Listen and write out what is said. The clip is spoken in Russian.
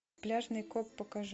пляжный коп покажи